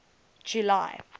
july